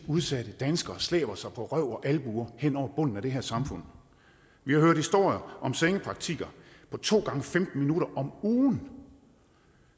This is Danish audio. udsatte danskere slæber sig på røv og albuer hen over bunden af det her samfund vi har hørt historier om sengepraktikker på to gange femten minutter om ugen